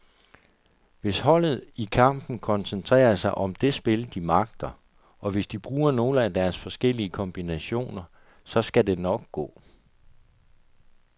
Hvis holdet i kampen koncentrerer sig om det spil, de magter, og hvis de bruger nogle af deres forskellige kombinationer, så skal det nok gå.